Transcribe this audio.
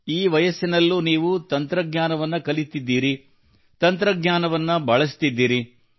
ಈ ವಯಸ್ಸಿನಲ್ಲೂ ನೀವು ತಂತ್ರಜ್ಞಾನವನ್ನು ಕಲಿತಿದ್ದೀರಿ ತಂತ್ರಜ್ಞಾನವನ್ನು ಬಳಸುತ್ತಿದ್ದೀರಿ